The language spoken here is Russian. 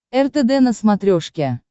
ртд на смотрешке